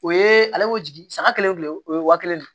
O ye ale y'o jigin saga kelen o ye waa kelen de ye